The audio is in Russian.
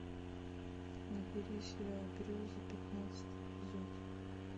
набери сериал грезы пятнадцатый эпизод